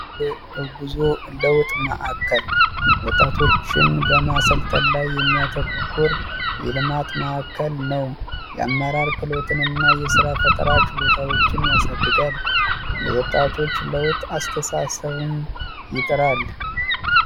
እጉዞ ለውጥ ማዕከል ወጣቶችን በማሰልጠን ላይ የሚያተኮር የልማት ማዕከል ነው የአመራር ክሎትን እና የስራ ፈጠራ ችሎታዎችን ያሳድገን ለወጣቶች ለውጥ አስተሳሰብን